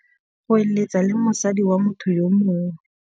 Monna wa gagwe o ne a batla go êlêtsa le mosadi wa motho yo mongwe.